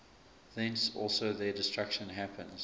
thence also their destruction happens